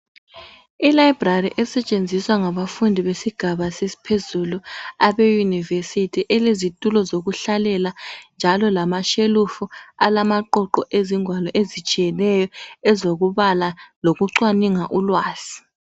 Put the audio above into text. ILibrary esentshenziswa ngabafundi besigabe sesiphezulu Abe yunivesithi elezitulo zokudlalela njalo lamashelufu alamaqoqo ezingwali ezitshiyeneyo ezokubala lokucwaninga ulwazi